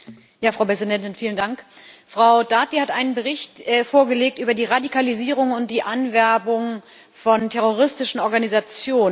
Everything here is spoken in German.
Frau Präsidentin! Frau Dati hat einen Bericht vorgelegt über die Radikalisierung und die Anwerbung von terroristischen Organisationen.